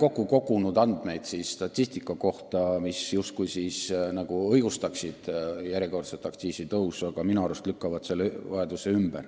Olen kogunud andmeid statistika kohta, mis justkui peaks õigustama järjekordset aktsiisitõusu, aga minu arust need andmed lükkavad selle vajaduse ümber.